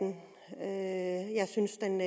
jeg synes den